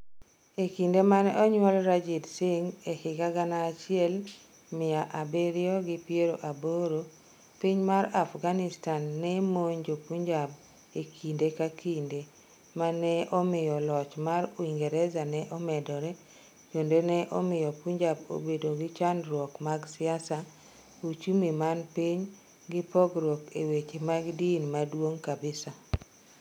E kinde mane onyuol Ranjit Singh e higa gana achiel mia abiriyo gi piero aboro, Piny mar Afghanistan ne monjo Punjab e kinde ka kinde, mano ne omiyo loch mar Uingereza ne omedore kendo ne omiyo Punjab obedo gi chandruok mag siasa, uchumi man piny gi pogrouk e weche mag din mak=duong kabisa.